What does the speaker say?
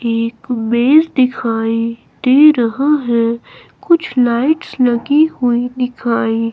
एक मेज दिखाई दे रहा है कुछ लाइट्स लगी हुई दिखाई--